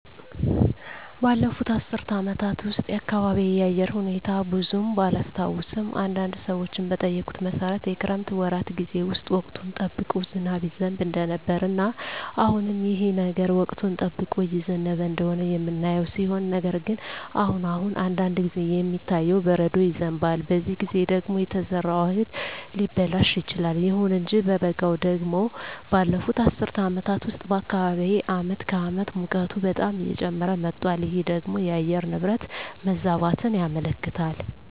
ባለፉት አስር አመታት ውስጥ የአካባቢየ የአየር ሁኔታ ብዙም ባላስታውሰውም አንዳንድ ሰዎችን በጠየኩት መሠረት የክረምት ወራት ጌዜ ውስጥ ወቅቱን ጠብቆ ዝናብ ይዘንብ እንደነበረ እና አሁንም ይህ ነገር ወቅቱን ጠብቆ እየዘነበ እንደሆነ የምናየው ሲሆን ነገር ግን አሁን አሁን አንዳንድ ጊዜ የሚታየው በረዶ ይዘንባል በዚህ ጊዜ ደግሞ የተዘራው እህል ሊበላሽ ይችላል። ይሁን እንጂ በበጋው ደግሞ ባለፋት አስር አመታት ውስጥ በአካባቢየ አመት ከአመት ሙቀቱ በጣም እየጨመረ መጧል ይህ ደግሞ የአየር ንብረት መዛባትን ያመለክታል